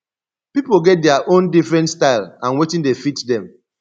pipo get their own different style and wetin dey fit them